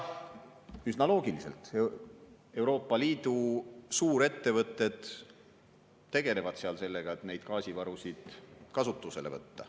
Üsna loogiliselt Euroopa Liidu suurettevõtted tegelevad seal sellega, et neid gaasivarusid kasutusele võtta.